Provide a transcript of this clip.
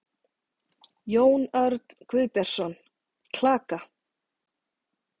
Jón Örn Guðbjartsson: Klaka?